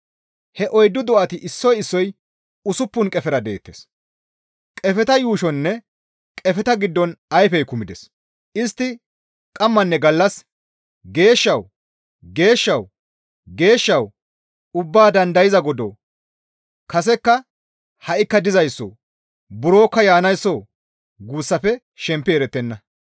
He oyddu do7ati issoy issoy usuppun qefera deettes; qefeta yuushoninne qefeta giddon ayfey kumides; istti qammanne gallas, «Geeshshawu! Geeshshawu! Geeshshawu! Ubbaa dandayza Godoo! Kasekka ha7ikka dizayssoo! Burokka yaanaysso guussafe shempi erettenna.